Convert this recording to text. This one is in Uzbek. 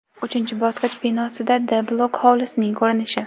Uchinchi bosqich binosidan D bloki hovlisining ko‘rinishi.